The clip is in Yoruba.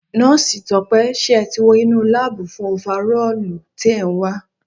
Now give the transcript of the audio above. Nọ́osi Tọ́pẹ́ ṣé ẹ tí wo inú láábù fún ofarọ́ọ̀lu tí è nwa